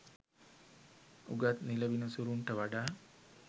උගත් නිල විනිසුරන්ට වඩා